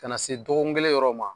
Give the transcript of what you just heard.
Ka na se dɔgɔkun kelen yɔrɔ ma